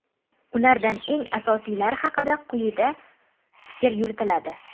Ulardan eng asosiylari haqida quyida fikr yuritiladi.